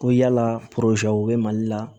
Ko yala u bɛ mali la